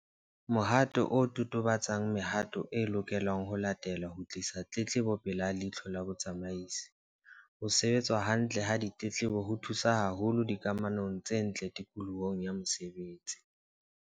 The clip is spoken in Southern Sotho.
Mohato o totobatsa mehato e lokelang ho latelwa ho tlisa tletlebo pela leihlo la botsamaisi. Ho sebetswa hantle ha ditletlebo ho thusa haholo dikamanong tse ntle tikolohong ya mosebetsi.